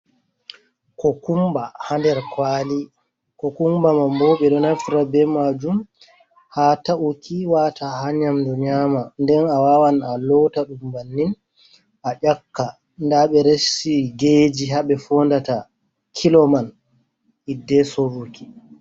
Kokumba haa nder kwali. Kokumba man bo ɓe ɗo nafira be maajum haa ta’uki waata haa nyamdu nyaama, nden a wawan a loota ɗum bannin a ƴakka, nda ɓe resi geji haa ɓe fondata kilo man hidde sorruki.